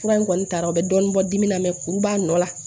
Fura in kɔni taara o bɛ dɔɔnin bɔ dimi na kuru b'a nɔ la